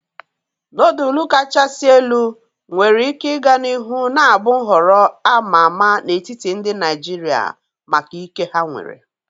Nodulu kachasị elu nwere ike ịga n'ihu na-abụ nhọrọ a ma ama n'etiti ndị Naijiria maka ike ha nwere.